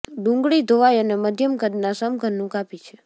ડુંગળી ધોવાઇ અને મધ્યમ કદના સમઘનનું કાપી છે